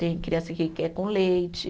Tem criança que quer com leite.